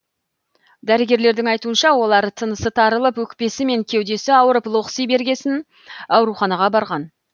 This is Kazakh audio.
дәрігерлердің айтуынша олар тынысы тарылып өкпесі мен кеудесі ауырып лоқси бергесін ауруханаға барған